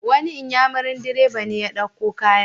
Wani inyamurin direba ne ya dauko kayan.